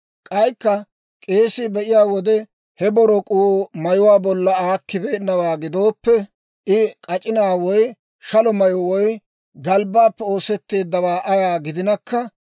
«K'aykka k'eesii be'iyaa wode, he borok'uu mayuwaa bolla aakkibeennawaa gidooppe, I k'ac'inaa woy shalo mayyo woy galbbaappe oosetteeddawaa ayaa gidinakka,